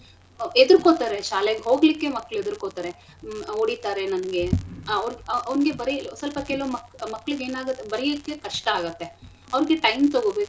ಎದ್ರುಕೊತರೆ ಶಾಲೆಗೆ ಹೋಗ್ಲಿಕ್ಕೆ ಮಕ್ಳು ಎದುರ್ಕೊತರೆ ಒಡಿತರೆ ನನ್ಗೆ ಆ ಅವ್ರ್ ಆ ಅವ್ನಗೆ ಬರೀ ಸ್ವಲ್ಪ ಕೆಲವ್ ಮಕ್~ ಮಕ್ಳಿಗೆನಾಗತ್ ಬರಿಯಕ್ಕೆ ಕಷ್ಟ ಆಗತ್ತೆ ಅವ್ರ್ಗೆ time ತೊಗೋಬೇಕು.